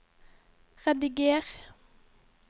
rediger